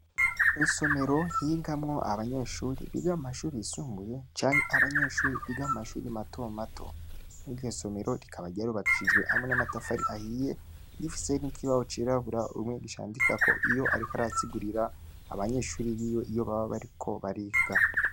Mw' isomero higamwo abanyeshuri biga mu mashuri yisumbuye canke abanyeshuri biga mu mashuri mato mato. Iryo somero rikaba ryarubakishijwe hamwe n' amafari ahiye, rifise n' ikibaho cirabura umwigisha yandikako iyo ariko asigurira abanyeshuri biwe iyo baba bariko bariga.